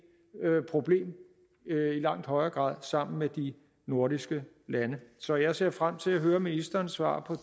problem i langt højere grad sammen med de nordiske lande så jeg ser frem til at høre ministerens svar på